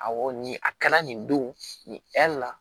Awɔ nin a kɛra nin don nin la